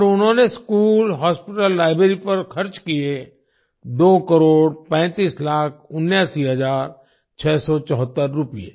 और उन्होंने school hospital library पर खर्च किये दो करोड़ पैंतीस लाख उन्यासी हजार छः सौ चौहत्तर रूपए